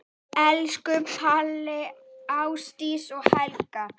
Elsku Palli, Ásdís og Hekla.